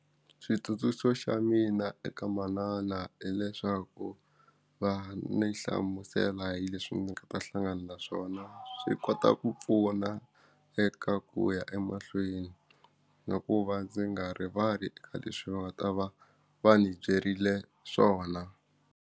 Switsundzuxo xa mina eka manana hileswaku va ni hlamusela hi leswi ndzi nga ta hlangana na swona swi kota ku pfuna eka ku ya emahlweni na ku va ndzi nga rivali ka leswi va nga ta va va ni byerile swona.